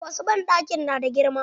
Wasu banɗakin na da girma.